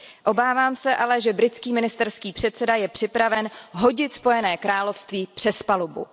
Obávám se ale, že britský ministerský předseda je připraven hodit Spojené království přes palubu.